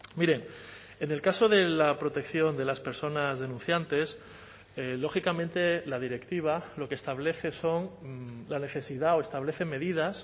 mire en el caso de la protección de las personas denunciantes lógicamente la directiva lo que establece son la necesidad o establece medidas